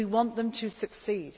We want them to succeed.